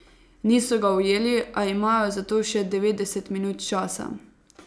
Niso ga ujeli, a imajo za to še devetdeset minut časa.